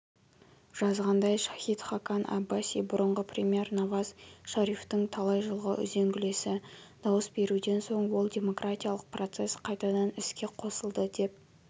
жазғандай шахид хакан аббаси бұрынғы премьер наваз шарифтің талай жылғы үзеңгілесі дауыс беруден соң ол демократиялық процесс қайтадан іске қосылды деп